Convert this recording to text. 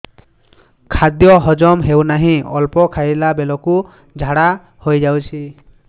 ଖାଦ୍ୟ ହଜମ ହେଉ ନାହିଁ ଅଳ୍ପ ଖାଇଲା ବେଳକୁ ଝାଡ଼ା ହୋଇଯାଉଛି